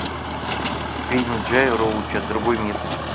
фильм джея роуча другой мир